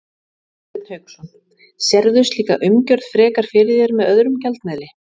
Hafsteinn Hauksson: Sérðu slíka umgjörð frekar fyrir þér með öðrum gjaldmiðli?